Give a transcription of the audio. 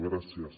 gràcies